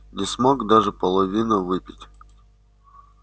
не смог даже половины выпить